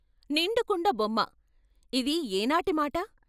నిండు కుండబొమ్మ ఇది ఏ నాటి మాట?